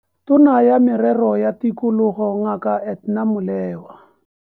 Tona ya Merero ya Tikologo Ngaka Edna Molewa.